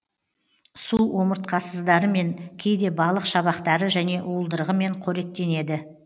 су омыртқасыздарымен кейде балық шабақтары және уылдырығымен қоректенеді